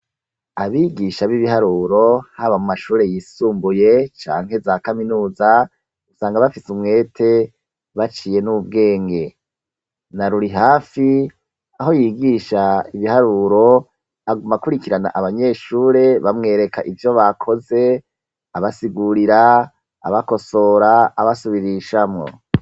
Abigisha b'ibiharuro h'aba mu mashure yisumbuye canke za kaminuza usanga bafise umwete baciye n'ubwenge na Rurihafi aho yigisha ibiharuro agoma kurikirana abanyeshure bamwereka ibyo bakoze abasigurira abakosora abasubirishamwo.